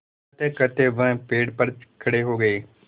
कहतेकहते वह पेड़ पर खड़े हो गए